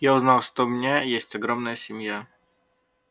я узнал что у меня есть огромная семья